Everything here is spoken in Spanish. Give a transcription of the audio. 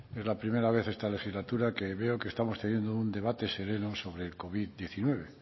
es la primera vez en esta legislatura que veo que estamos teniendo un debate sereno sobre el covid hemeretzi